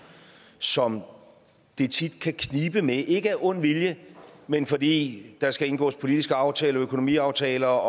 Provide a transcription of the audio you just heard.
som det tit kan knibe med ikke af ond vilje men fordi der skal indgås politiske aftaler økonomiaftaler